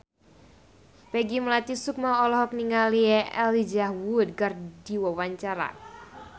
Peggy Melati Sukma olohok ningali Elijah Wood keur diwawancara